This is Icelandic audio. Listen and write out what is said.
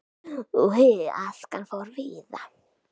Askan fór víða.